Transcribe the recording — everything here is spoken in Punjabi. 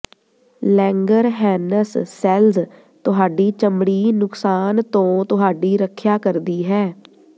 ਲੈਂਗਰਹੈਨਸ ਸੈੱਲਜ਼ ਤੁਹਾਡੀ ਚਮੜੀ ਨੁਕਸਾਨ ਤੋਂ ਤੁਹਾਡੀ ਰੱਖਿਆ ਕਰਦੀ ਹੈ